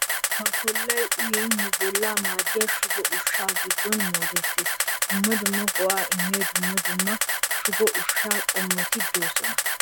Kookkaa koollay uyin nu bollaa maaddiya shugo ushshatu giddon moodettees. Dumma dumma go'aa immiya dumma dumma shugo ushshaa qommoti de"oosona.